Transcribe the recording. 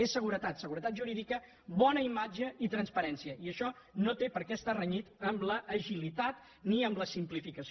és seguretat segu·retat jurídica bona imatge i transparència i això no té per què estar renyit ni amb l’agilitat ni amb la sim·plificació